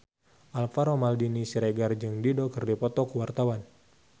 Alvaro Maldini Siregar jeung Dido keur dipoto ku wartawan